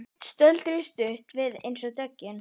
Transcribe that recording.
Stöldruðu stutt við eins og döggin.